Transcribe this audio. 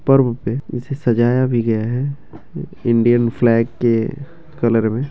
पर्व पे इसे सजाया भी गया है इंडियन फ्लैग के कलर में।